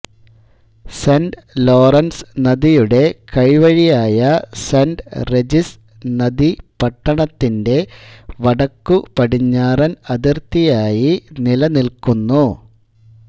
saint Lawrence നദിയുടെ കൈവഴിയായ Saint Regis നദി പട്ടണത്തിന്റെ വടക്കുപടിഞ്ഞാറൻ അതിർത്തിയായി നിലനിൽക്കുന്നു